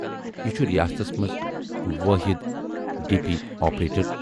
یہِ چھُ رِیاستَس مَنز وٲحِد ڈی پی آپریٹر۔